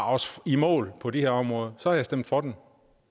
os i mål på de her områder så havde jeg stemt for